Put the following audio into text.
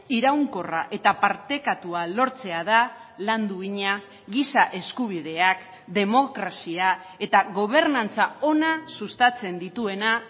iraunkorra eta partekatua lortzea da lan duina giza eskubideak demokrazia eta gobernantza ona sustatzen dituena